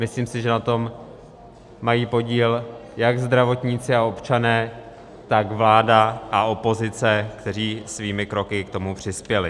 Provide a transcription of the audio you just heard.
Myslím si, že na tom mají podíl jak zdravotníci a občané, tak vláda a opozice, kteří svými kroky k tomu přispěli.